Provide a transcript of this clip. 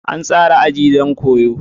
An tsara aji don koyo.